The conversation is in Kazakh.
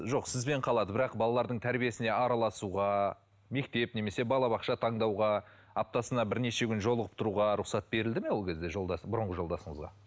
жоқ сізбен қалады бірақ балалардың тәрбиесіне араласуға мектеп немесе балабақша таңдауға аптасына бірнеше күн жолығып тұруға рұқсат берілді ме ол кезде бұрынғы жолдасыңызға